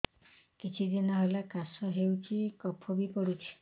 କିଛି ଦିନହେଲା କାଶ ହେଉଛି କଫ ବି ପଡୁଛି